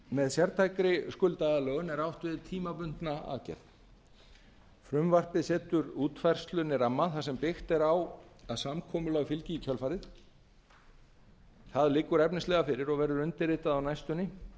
með sértækri skuldaaðlögun er átt við tímabundna aðgerð frumvarpið setur útfærslunni ramma þar sem byggt er á að samkomulag fylgi í kjölfarið það liggur efnislega fyrir og verður undirritað á næstunni